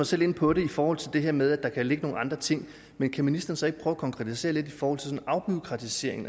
selv inde på det i forhold til det her med at der kan ligge nogle andre ting men kan ministeren så ikke prøve at konkretisere lidt i forhold til afbureaukratisering